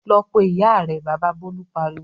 "Lọ pe ìyá rẹ!" Bàbá Bólú pariwo.